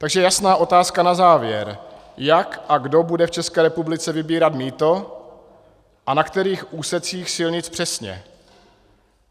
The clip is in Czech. Takže jasná otázka na závěr: Jak a kdo bude v České republice vybírat mýto a na kterých úsecích silnic přesně?